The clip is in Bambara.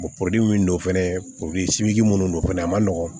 min don fɛnɛ minnu don fɛnɛ a man nɔgɔ